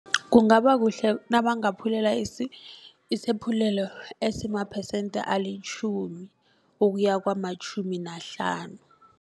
Kungabakuhle nabangaphulela isephululo esimaphesente alitjhumi ukuya kwamatjhumi nahlanu.